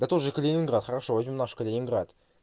да тоже калининград хорошо возьмём наш калининград